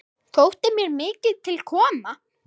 Þótti mér mikið til koma.